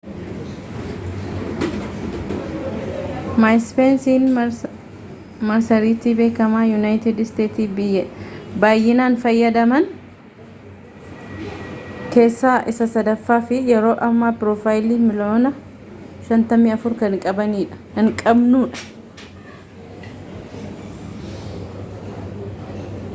maayiispeesiin marsariitii beekamaa yuunaayitid isteetsiitti baayyinaan fayyadamaman keessaa isa sadaffaa fi yeroo ammaa piroofaayilii miiliyoona 54 kan qabanudha